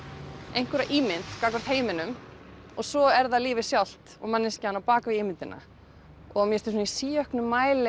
einhverja ímynd gagnvart heiminum og svo er það lífið sjálft og manneskjan á bak við ímyndina mér finnst í síauknum mæli